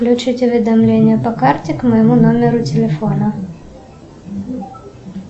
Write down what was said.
включить уведомление по карте к моему номеру телефона